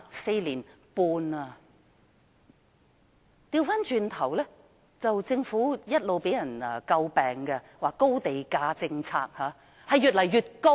至於政府的"高地價政策"，一直被人詬病，而地價仍是越來越高。